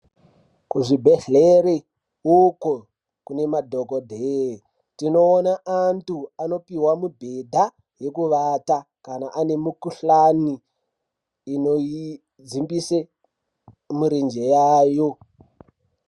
Kuzvibhedhlere uko kune madhogodheya, tinoone antu anopiwa mibhedha yekuvata kana ane mikhuhlane inodzmbise mirenje yayo.